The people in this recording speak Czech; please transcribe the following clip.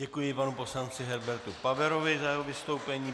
Děkuji panu poslanci Herbertu Paverovi za jeho vystoupení.